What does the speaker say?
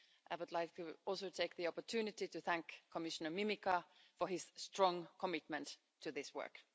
I would like to also take the opportunity to thank Commissioner Mimica for his strong commitment to this work.